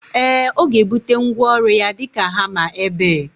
Ee, ọga ebute ngwaọru ya dika hama ebe